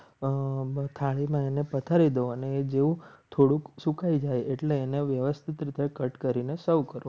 અને જેવું થોડુંક સુકાઈ જાય એટલે એને વ્યવસ્થિત રીતે cut કરીને serve કરો.